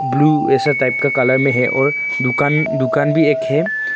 Blue ऐसा type का colour मे है और दुकान दुकान भी एक है।